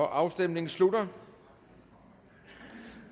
afstemningen slutter